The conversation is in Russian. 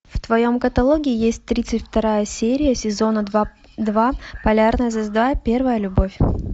в твоем каталоге есть тридцать вторая серия сезона два полярная звезда первая любовь